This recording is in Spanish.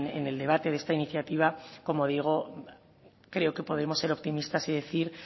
en el debate de esta iniciativa como digo creo que podemos ser optimistas y decir